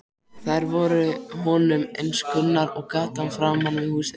Þær voru honum eins kunnar og gatan framan við húsið.